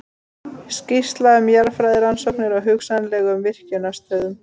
Skýrsla um jarðfræðirannsóknir á hugsanlegum virkjunarstöðum.